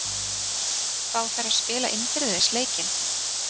Fá þær að spila innbyrðis leikinn?